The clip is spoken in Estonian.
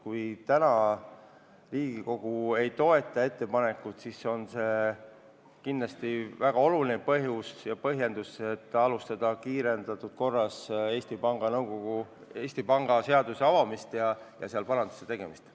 Kui täna Riigikogu ei toeta eelnõu, siis on see kindlasti väga oluline põhjus alustada kiirendatud korras Eesti Panga seaduses paranduste tegemist.